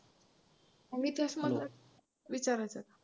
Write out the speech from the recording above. इतिहास मधलं विचारायचं आहे.